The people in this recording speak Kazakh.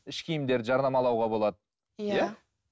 іш киімдерді жарнамалауға болады иә